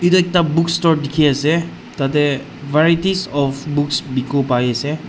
etu ekta bookstore dikhi ase tate varieties of books bikibo pare ase.